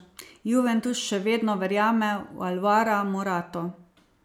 Juventus še vedno verjame v Alvara Morato.